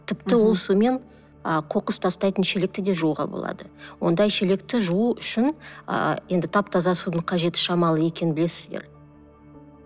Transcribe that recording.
тіпті ол сумен ы қоқыс тастайтын шелекті да жууға болады ондай шелекті жуу үшін ыыы енді тап таза судың қажеті шамалы екенін білесіздер